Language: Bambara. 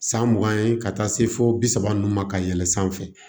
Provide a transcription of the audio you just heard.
San mugan ye ka taa se fo bi saba nunnu ma ka yɛlɛn sanfɛ